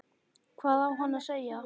Hvað á hann að segja?